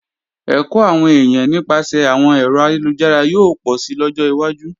Ẹ̀kọ́ àwọn èèyàn nípasẹ̀ àwọn ẹ̀rọ ayélujára yóò pọ̀si lọ́jọ́ wájú